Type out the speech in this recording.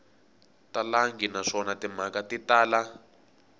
talangi naswona timhaka ti tala